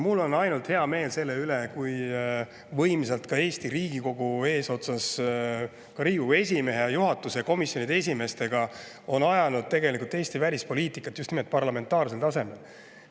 Mul on ainult hea meel selle üle, kui võimsalt Riigikogu eesotsas Riigikogu esimehe, juhatuse ja komisjonide esimeestega on ajanud Eesti välispoliitikat parlamentaarsel tasemel.